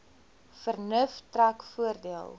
vernuf trek voordeel